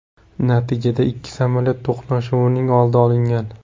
Natijada ikki samolyot to‘qnashuvining oldi olingan.